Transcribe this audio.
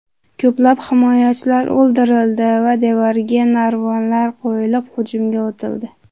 Ko‘plab himoyachilar o‘ldirildi va devorga narvonlar qo‘yilib hujumga o‘tildi.